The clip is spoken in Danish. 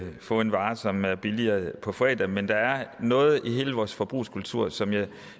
få en vare som er billigere på fredag men der er noget i hele vores forbrugskultur som jeg